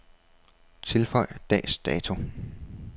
Tilføj dags dato.